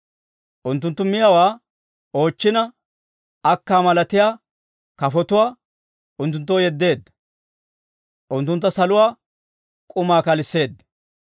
Unttunttu miyaawaa oochchina, akkaa malatiyaa kafotuwaa unttunttoo yeddeedda; unttuntta saluwaa k'umaa kalisseedda.